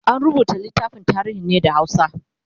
an rubuta littafin tarihin ne da hausa